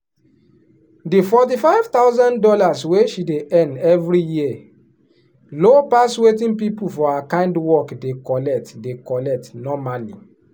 the forty five thousand dollars wey she dey earn every year low pass wetin people for her kind work dey collect dey collect normally.